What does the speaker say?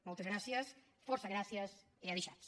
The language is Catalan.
moltes gràcies fòrça gràcies e adishatz